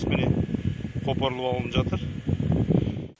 міне қопарылып алынып жатыр